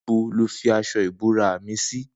Nibó ló fi aṣọ ibórà mi si